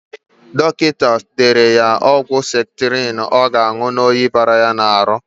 Dọkịta dere ya ọgwụ septrịn ọ ga-anụ maka oyi bara ya ahụ.